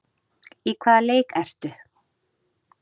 Í hvaða leik ertu?